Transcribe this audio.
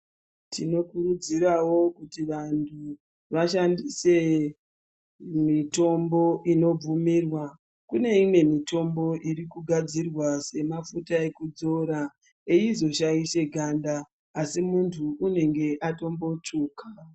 Tinokurudzirwmawo kuti vantu vashandise mitombo inobvumirwa, kune imwe mitombo irikugadzirwa semafuta ekudzora eizoshaishe ganda asi muntu unenge atombotsvuka.